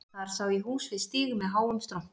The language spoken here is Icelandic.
Þar sá ég hús við stíg með háum strompi